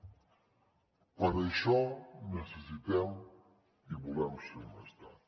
per això necessitem i volem ser un estat